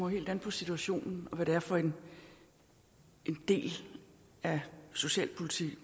helt an på situationen og hvad det er for en del af det socialpolitiske